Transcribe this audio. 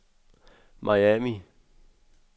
Miami